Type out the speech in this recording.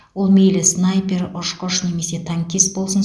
ол мейлі снайпер ұшқыш немесе танкист болсын